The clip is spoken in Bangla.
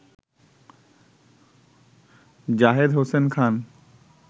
জাহেদ হোসেন খান